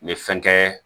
N ye fɛn kɛ